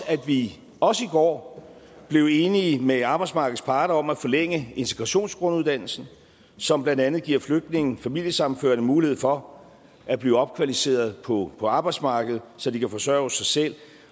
at vi også i går blev enige med arbejdsmarkedets parter om at forlænge integrationsgrunduddannelsen som blandt andet giver flygtninge familiesammenførte mulighed for at blive opkvalificeret på på arbejdsmarkedet så de kan forsørge sig selv